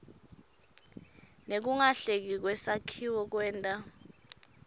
nekungahleleki kwesakhiwo kwenta